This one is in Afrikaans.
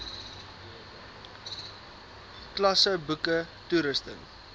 klasse boeke toerusting